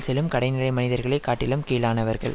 செல்லும் கடைநிலை மனிதர்களை காட்டிலும் கீழானவர்கள்